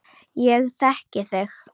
Ég þekki þig.